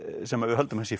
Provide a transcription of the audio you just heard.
sem við höldum að sé